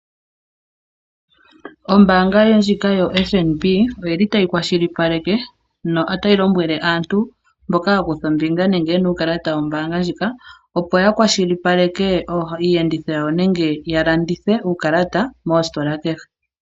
Ombaanga ndjika yo FNB oyi li tayi kwashilipaleke nota yi lonmwele aantu mboka ya kutha ombinga muukalata wombaanga ndjika, opo ya kwashilipaleke iiyedhitho yawo, nenge ya longithe uukalata moositola kehe.